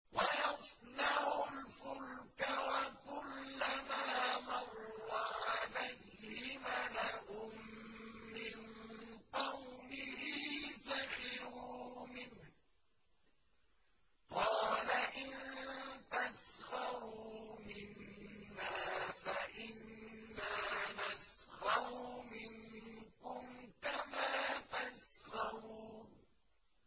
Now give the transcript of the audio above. وَيَصْنَعُ الْفُلْكَ وَكُلَّمَا مَرَّ عَلَيْهِ مَلَأٌ مِّن قَوْمِهِ سَخِرُوا مِنْهُ ۚ قَالَ إِن تَسْخَرُوا مِنَّا فَإِنَّا نَسْخَرُ مِنكُمْ كَمَا تَسْخَرُونَ